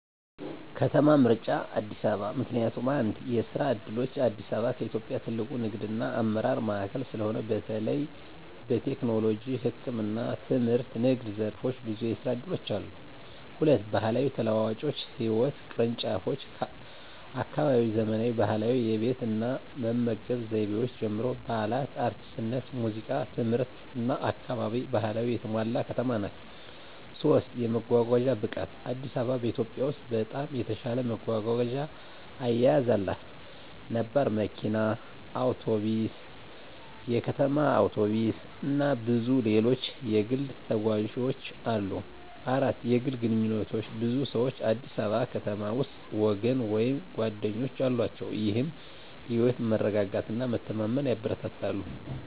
ከተማ ምርጫ አዲስ አበባ ምክንያቱም፦ 1. የስራ ዕድሎች: አዲስ አበባ ከኢትዮጵያ ትልቁ ንግድና አመራር ማዕከል ስለሆነ፣ በተለይ በቴክኖሎጂ፣ ህክምና፣ ትምህርትና ንግድ ዘርፎች ብዙ የስራ እድሎች አሉ። 2. ባህላዊ ተለዋዋጮችና ህይወት ቅርንጫፎች: ከአካባቢያዊ ዘመናዊ ባህላዊ የቤት እና መመገብ ዘይቤዎች ጀምሮ፣ በዓላት፣ አርቲስትነት፣ ሙዚቃ፣ ትምህርትና አካባቢ ባህላዊነት የተሞላ ከተማ ናት። 3. የመጓጓዣ ብቃት: አዲስ አበባ በኢትዮጵያ ውስጥ በጣም የተሻለ መጓጓዣ አያያዝ አላት። ነባር መኪና፣ ባስ፣ ሲቲ ባስ፣ እና ብዙ ሌሎች የግል ተጓዦች አሉ። 4. የግል ግንኙነቶች: ብዙ ሰዎች አዲስ አበባ ከተማ ውስጥ ወገን ወይም ጓደኞች አላቸው፣ ይህም የህይወት መረጋጋትና መተማመን ያበረታታል።